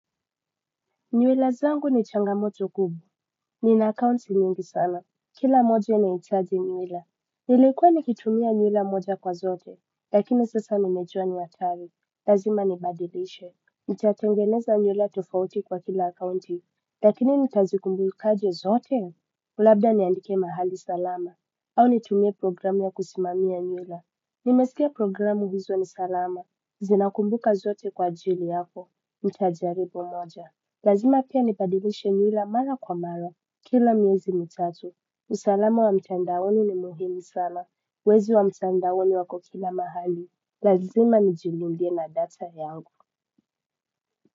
Nywila zangu ni changamoto kubwa, nina akaunti nyingi sana, kila moja inahitaji nywila. Nilekua nikitumia nywila moja kwa zote, lakini sasa nimejua ni hatari, lazima nibadilishe. Nitatengeneza nywila tofauti kwa kila akaunti, lakini nitazikumbukaje zote? Labda niandike mahali salama, au nitumie programu ya kusimamia nywila. Nimesikia programu hizo ni salama, zinakumbuka zote kwa ajili yako, nitajaribu moja. Lazima pia nibadilishe nywila mara kwa mara, kila miezi mitatu, usalama wa mtandaoni ni muhimu sana, wezi wa mtandaoni wako kila mahali, lazima nijilindie na data yangu.